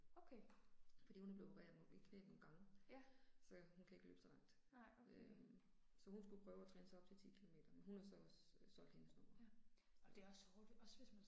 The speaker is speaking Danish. Fordi hun er blevet opereret på begge knæ nogle gang. Så hun kan ikke løbe så langt øh. Så hun skulle prøve og træne sig op til 10 kilometer men hun har så også solgt hendes nu